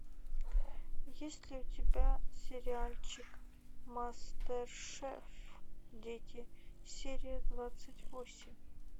есть ли у тебя сериальчик мастер шеф дети серия двадцать восемь